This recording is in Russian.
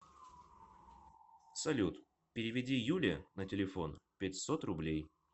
салют переведи юле на телефон пятьсот рублей